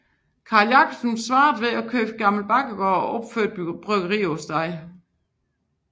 Carl Jabobsen svarede ved at købe Gamle Bakkegård og opføre et bryggeri på grunden